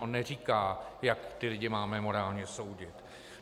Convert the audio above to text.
On neříká, jak ty lidi máme morálně soudit.